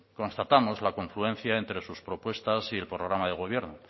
constatamos la confluencia entre sus propuestas y el programa de gobierno